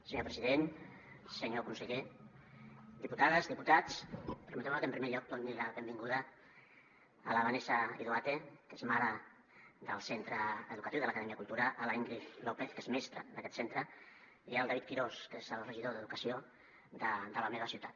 senyor president senyor conseller diputades diputats permeteu me que en primer lloc doni la benvinguda a la vanessa idoate que és mare del centre educatiu de l’acadèmia cultura a l’íngrid lópez que és mestra d’aquest centre i al david quirós que és el regidor d’educació de la meva ciutat